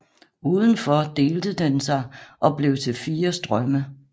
Udenfor delte den sig og blev til fire strømme